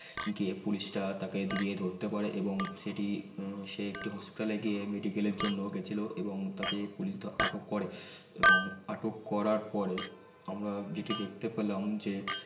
যে পুলিশ টা তাকে গিয়ে ধরতে পারে এবং সেটি সে একটি হাসপাতাল গিয়ে medical এর জন্য গিয়ে ছিল এবং তাকে পুলিশ আটক করে এবং আটক করার পরে আমারা যেতি দেখতে পেলাম যে